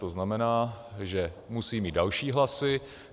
To znamená, že musí mít další hlasy.